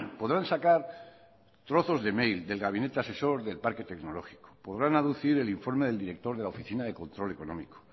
podrán sacar trozos de mail del gabinete asesor del parque tecnológico podrán aducir el informe del director de la oficina de control económico